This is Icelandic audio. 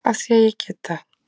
Af því að ég get það.